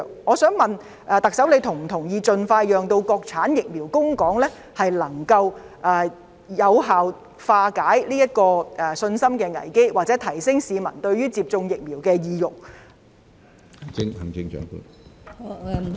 我想問特首她是否同意，盡快讓國產疫苗供港能夠有效化解這個信心危機或提升市民接種疫苗的意欲？